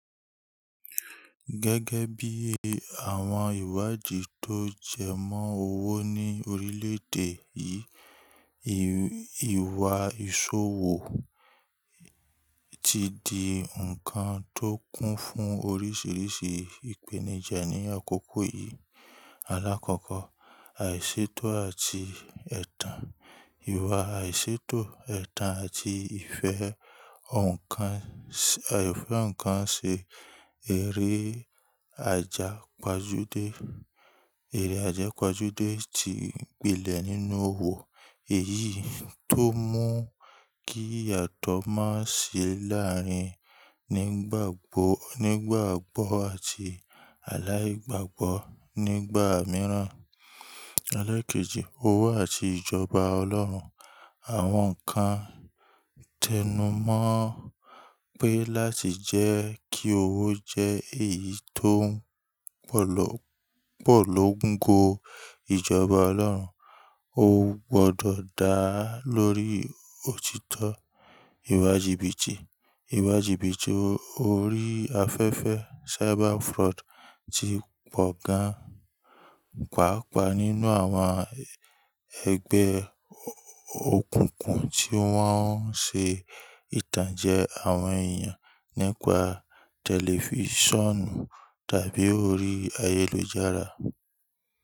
Gẹ́gẹ́ bí i àwọn ìwádìí tó jẹ mọ́ owó ní orílẹ̀-èdè yìí, ìwà ìṣòwò ti di ǹkan tó kún fún oríṣiríṣi ìpèníjà ní àkókò yìí. Alákọ̀ọ́kọ́, àìṣètò àti ẹ̀tàn: ìwà àìṣètò, ẹ̀tàn àti ìfẹ́ ọ̀ǹkan ṣe eré Aija padude, eré àjẹ pajude ti pilẹ̀ nínú owó èyí tó mú kí ìyàtọ̀ máa sí láàrin nígbà oní ìgbàgbọ́ àti aláì gbàgbọ́ ní ìgbà mìíràn. Ẹlẹ́ kejì, owó àti ìjọba Ọlọ́run: Àwọn kan tẹnumọ́ pé láti jẹ́ kí owó jẹ́ èyí tó pọ̀lọ́ńgo. Ìjọba ọlọ́run ó gbọdọ̀ dá lórí òtítọ́, ìwà jìbìtì. Ìwà jìbìtì orí afẹ́fẹ́, cyber fraud ti pọ̀ gan-an, pàápàá nínú àwọn ẹgbẹ́ òkùnkùn tí wọ́n ń ṣe ìtànjẹ àwọn èèyàn nípa tẹlifíṣọ̀nù tàbí orí ayélujára.